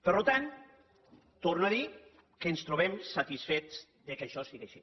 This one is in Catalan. per tant ho torno a dir que ens trobem satisfets que això sigui així